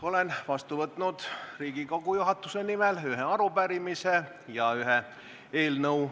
Olen Riigikogu juhatuse nimel vastu võtnud ühe arupärimise ja ühe eelnõu.